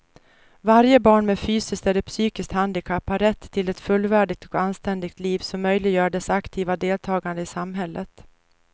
Varje barn med fysiskt eller psykiskt handikapp har rätt till ett fullvärdigt och anständigt liv som möjliggör dess aktiva deltagande i samhället.